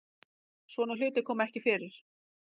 Svona hlutir koma ekki fyrir